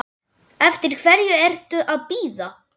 Eftir hverju ertu að bíða?